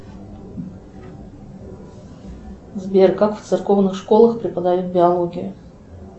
сбер как в церковных школах преподают биологию